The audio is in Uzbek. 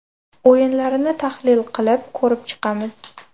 O‘yinlarni tahlil qilib, ko‘rib chiqamiz.